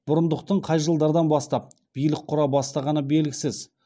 бұрындықтың қай жылдардан бастап билік құра бастағаны белгісіз